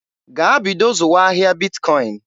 Gaa bido zụwa ahịa Bitkọin!